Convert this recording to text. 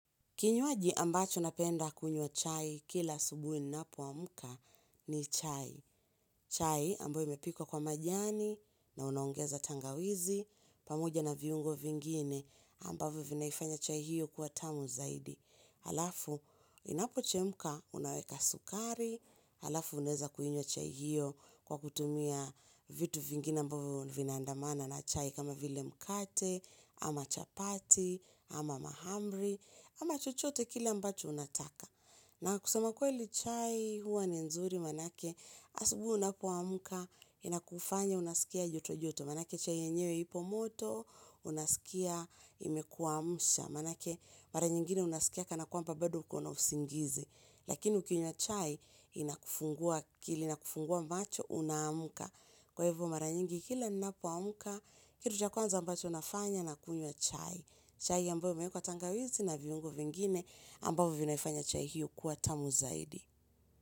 Kinywaji ambacho napenda kunywa chai kila asubuhi ninapoamka ni chai. Chai ambayo imepikwa kwa majani, na unaogeza tangawizi pamoja na viungo vingine ambavyo vinaifanya chai hiyo kuwa tamu zaidi. Alafu inapochemka unaweka sukari, alafu unaeza kuinywa chai hiyo kwa kutumia vitu vingine ambavo vinaandamana na chai kama vile mkate, ama chapati, ama mahamri, ama chochote kile ambacho unataka. Na kusema kweli chai huwa ni nzuri manake asubuhi unapoamka inakufanya unasikia joto joto. Manake chai yenyewe ipo moto unasikia imekuamsha. Manake mara nyingine unasikia kana kwamba bado ukona usingizi. Lakini ukinywa chai inakufungua akili na kufungua macho unaamka. Kwa hivyo mara nyingi kila ninapoamka kitu cha kwanza ambacho nafanya nakunywa chai. Chai ambayo imeekwa tangawizi na viungo vingine ambao vinaifanya chai hiyo kuwa tamu zaidi.